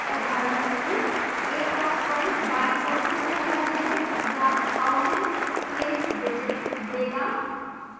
उदाहरणस्वरूप a 1 बायीं ओर से पहला digit या thousands place digit देगा